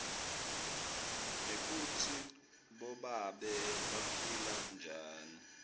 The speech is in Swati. nekutsi bobabe baphila njani